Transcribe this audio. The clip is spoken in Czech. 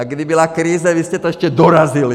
A kdy byla krize, vy jste to ještě dorazili.